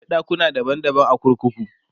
akwai ɗakuna daban daban a kurkuku